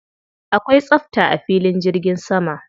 Akwai tsafta a filin jirgi sama.